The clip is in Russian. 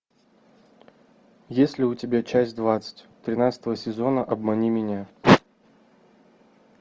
есть ли у тебя часть двадцать тринадцатого сезона обмани меня